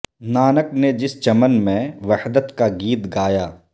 نانک نے جس چمن میں وحدت کا گیت گایا